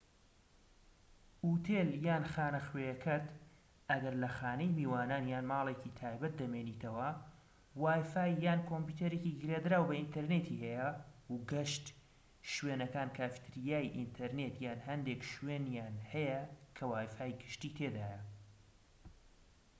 ئوتێل یان خانەخوێکەت ئەگەر لە خانەی میوانان یان ماڵێکى تایبەت دەمێنیتەوە وای فای یان کۆمپیوتەرێکی گرێدراو بە ئینتەرنێتی هەیە، و گشت شوێنەکان کافتریای ئینتەرنێت یان هەندێک شوێنیان هەیە کە وای فای گشتی تێدایە